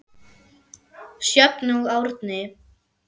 Sjöfn og Árni.